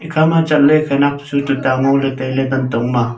ekha ma chat le khunak chu tuta ngo le tai le kantong ma.